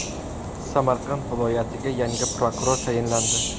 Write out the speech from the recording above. Samarqand viloyatiga yangi prokuror tayinlandi.